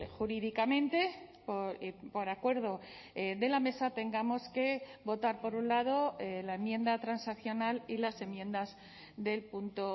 jurídicamente por acuerdo de la mesa tengamos que votar por un lado la enmienda transaccional y las enmiendas del punto